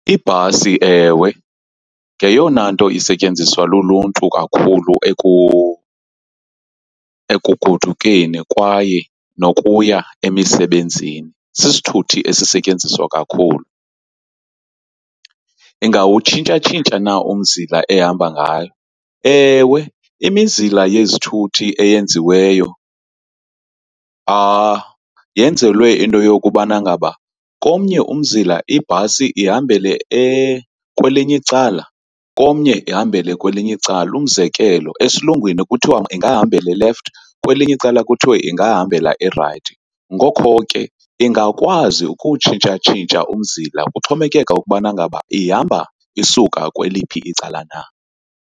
Ibhasi, ewe, ngeyona nto isetyenziswa luluntu kakhulu ekugodukeni kwaye nokuya emisebenzini, sisithuthi ezisetyenziswa kakhulu. Ingawutshintshatshintsha na umzila ehamba ngayo? Ewe, imizila yezithuthi eyenziweyo yenzelwe into yokubana ngaba komnye umzila ibhasi ihambele kwelinye icala komnye ihambele kwelinye icala. Umzekelo, esilungwini kuthiwa ingahambela elefti, kwelinye icala kuthiwe ingahambela erayithi. Ngoko ke ingakwazi ukuwutshintshatshintsha umzila, kuxhomekeka ukubana ngaba ihamba isuka kweliphi icala na.